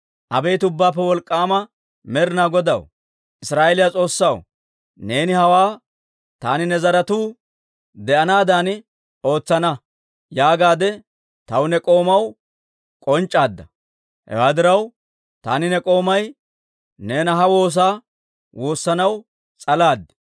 «Abeet Ubbaappe Wolk'k'aama Med'inaa Godaw, Israa'eeliyaa S'oossaw, neeni hawaa, ‹Taani ne zaratuu de'anaadan ootsana› yaagaadde taw ne k'oomaw k'onc'c'aadda; hewaa diraw, taani ne k'oomay neena ha woosaa woossanaw s'alaad.